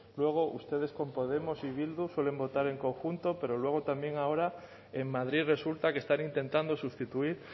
luego ustedes con podemos y bildu suelen votar en conjunto pero luego también ahora en madrid resulta que están intentando sustituir